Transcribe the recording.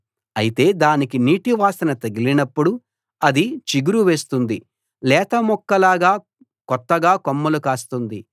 అయితే దానికి నీటి వాసన తగిలినప్పుడు అది చిగురు వేస్తుంది లేత మొక్కలాగా కొత్తగా కొమ్మలు కాస్తుంది